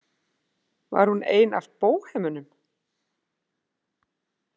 Var hún ein af bóhemunum?